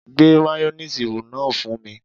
Gbé mayoníìsì náà fún mi